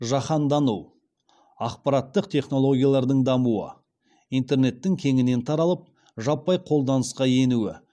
жаһандану ақпараттық технологиялардың дамуы интернеттің кеңінен таралып жаппай қолданысқа енуі